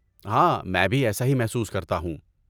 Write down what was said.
ہاں، میں بھی ایسا ہی محسوس کرتا ہوں۔